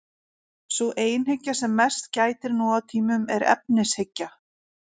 Sú einhyggja sem mest gætir nú á tímum er efnishyggja.